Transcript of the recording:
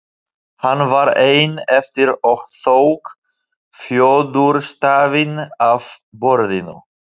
Hann var einn eftir og tók fjöðurstafinn af borðinu.